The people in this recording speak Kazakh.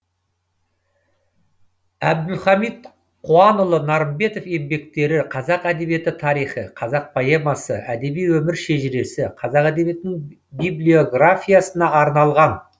әбділхамит қуанұлы нарымбетов еңбектері қазақ әдебиеті тарихы қазақ поэмасы әдеби өмір шежіресі қазақ әдебиетінің библиографиясына арналған